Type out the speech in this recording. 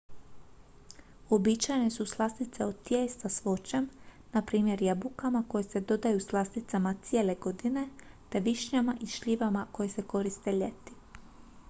uobičajene su slastice od tijesta s voćem na primjer jabukama koje se dodaju slasticama cijele godine te višnjama i šljivama koje se koriste ljeti